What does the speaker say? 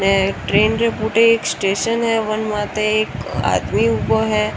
ट्रेन के पुट एक स्टेशन है बन मात एक आदमी उबा है।